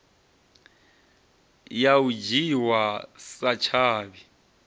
ya u dzhiwa sa tshavhi